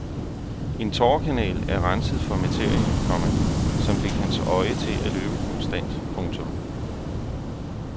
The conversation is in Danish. En tårekanal er renset for materie, komma som fik hans øje til at løbe konstant. punktum